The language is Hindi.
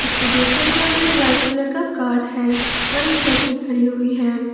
इसके दूसरे तरफ एक वाइट कलर का कार है और एक लड़की खड़ी हुई है।